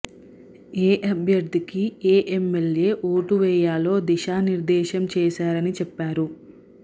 ఏ అభ్యర్థికి ఏ ఎమ్మెల్యే ఓటు వేయాలో దిశానిర్దేశం చేశారని చెప్పారు